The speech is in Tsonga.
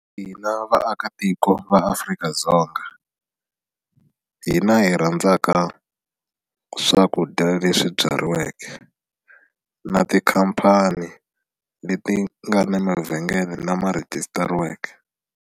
Hina vaakatiko va Afrika-Dzonga hina hi rhandzaka swakudya leswi byariweke na tikhampani leti ti nga na mavhengele lama rhejisitariweke.